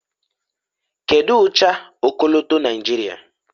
kedu ụcha ọkọlọtọ Naijiria